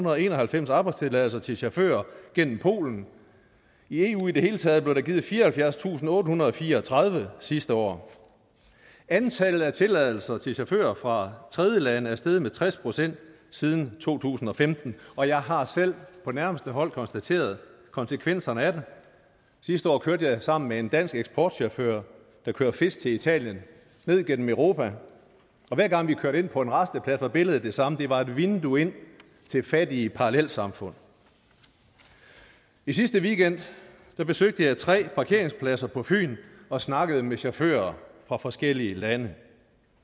og enoghalvfems arbejdstilladelser til chauffører gennem polen i eu i det hele taget blev der givet fireoghalvfjerdstusinde og ottehundrede og fireogtredive sidste år antallet af tilladelser til chauffører fra tredjelande er steget med tres procent siden to tusind og femten og jeg har selv på nærmeste hold konstateret konsekvenserne af det sidste år kørte jeg sammen med en dansk eksportchauffør der kører fisk til italien ned gennem europa og hver gang vi kørte ind på en rasteplads var billedet det samme det var et vindue ind til fattige parallelsamfund i sidste weekend besøgte jeg tre parkeringspladser på fyn og snakkede med chauffører fra forskellige lande